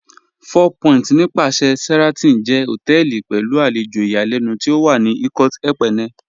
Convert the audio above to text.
Four Point nípàsẹ̀ Sheraton jẹ́ hotẹẹli pẹ̀lú alẹjò ìyàlẹnu tí ó wà ní Ikot Ekpene